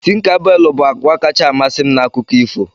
Tinkabelu bụ agwa kacha amasị m na akụkọ ifo